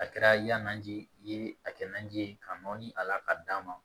A kɛra yananji ye a kɛ naji ye ka nɔnɔni a la ka d'a ma